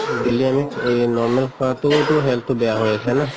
daily আমি এই normal খোৱাতো টো health টো বেয়া হৈ আছে ন?